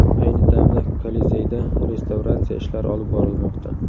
Ayni damda Kolizeyda restavratsiya ishlari olib borilmoqda.